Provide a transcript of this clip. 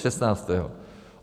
Šestnáctého.